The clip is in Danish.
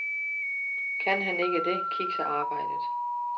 Kan han ikke det, kikser arbejdet.